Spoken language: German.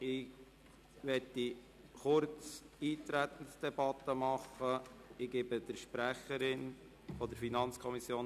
Ich möchte kurz die Eintretensdebatte abhalten und erteile der Sprecherin der FiKo das Wort.